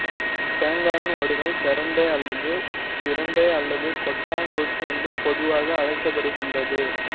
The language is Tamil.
தேங்காயின் ஓடுகள் செரட்டைஅல்லது சிரட்டை அல்லது கொட்டாங்குச்சி என்று பொதுவாக அழைக்கபடுகின்றது